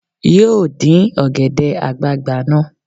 Yóò dín ọ̀gẹ̀dẹ̀ àgbagbà náà